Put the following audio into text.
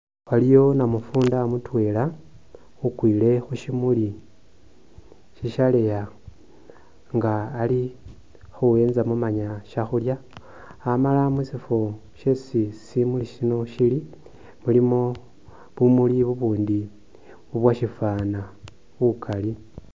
Waliyo namufunda mutweela ukwile khushimuuli shishaleeya nga ali khuwenzamo manya shakhulya amala mushifo shesi shimuuli shino shili mulimo bumuuli bubundi bubwoshifana bukaali.